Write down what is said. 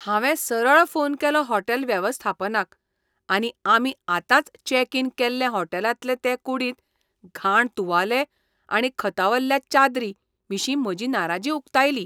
हांवें सरळ फोन केलो हॉटेल वेवस्थापनाक आनी आमी आतांच चॅक इन केल्ले हॉटेलांतले ते कुडींत घाण तुवाले आनी खतावल्ल्या चादरीं विशीं म्हजी नाराजी उकतायली.